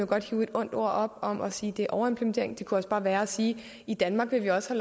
godt hive et ondt ord op og sige det er overimplementering men det kunne også bare være at sige at i danmark vil vi også